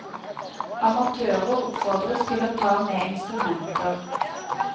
Amatører oppfordres til å ta med instrumenter.